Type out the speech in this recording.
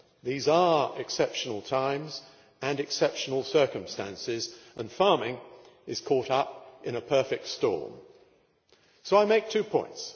These are exceptional times and exceptional circumstances, and farming is caught up in a perfect storm. So I make two points.